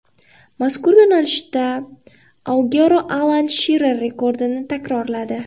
Mazkur yo‘nalishda Aguero Alan Shirer rekordini takrorladi.